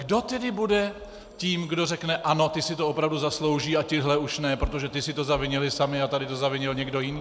Kdo tedy bude tím, kdo řekne "ano, ti si to opravdu zaslouží a tihle už ne, protože ti si to zavinili sami a tady to zavinil někdo jiný"?